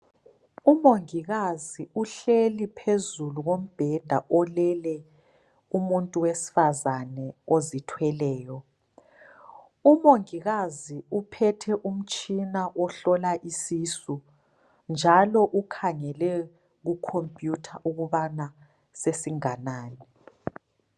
Umongikazi uhlezi phezulu kombheda olele umuntu wesifazane ozithweleyo. Umongikazi uphethe umtshina ohlola isisu njalo ukhangele kukhompuyutha ukubana sesinganani.